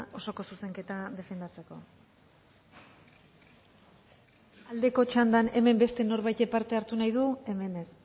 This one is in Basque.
osoko zuzenketa defendatzeko aldeko txandan hemen beste norbaitek parte hartu nahi du hemen ez